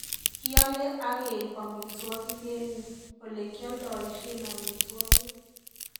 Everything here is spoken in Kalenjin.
Kiale ageiip amitwogik eng yu olegialdoishen amitwogik